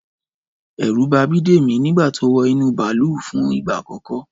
Ẹ̀rù ba Bídèmí nígbà tó wọ inú bàlúù fún ìgbà àkọ́kọ́